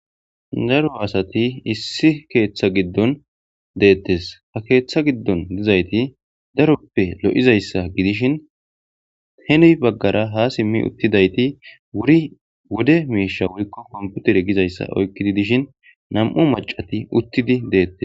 daro asati issi keeththa giddon deettes ha keeththa giddon dizayti daroppe lo7izayssa gidishin he nuy baggara ha simmi uttidayti wuri wode miisha wurikko komputere gizayssa oykkidi dishin nam7u macati uttidi deettes